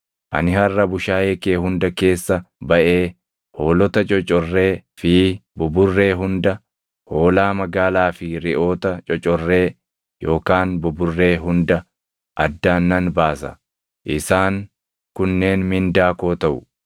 ani harʼa bushaayee kee hunda keessa baʼee hoolota cocorree fi buburree hunda, hoolaa magaalaa fi reʼoota cocorree yookaan buburree hunda addaan nan baasa; isaan kunneen mindaa koo taʼu.